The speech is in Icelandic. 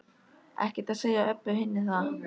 Ekkert að segja Öbbu hinni það.